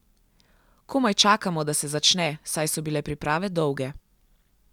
Komaj čakamo, da se začne, saj so bile priprave dolge.